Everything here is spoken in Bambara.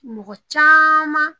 Mɔgɔ caaman